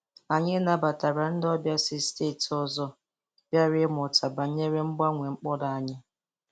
Anyị nabatara ndị ọbịa si steeti ọzọ bịara ịmụta banyere mgbanwe mkpụrụ anyị